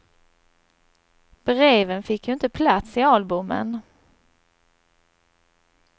Breven fick ju inte plats i albumen.